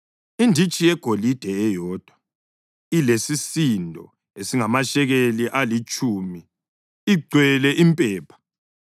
inditshi yegolide eyodwa elesisindo esingamashekeli alitshumi, igcwele impepha;